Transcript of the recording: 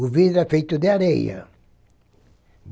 O vidro é feito de areia.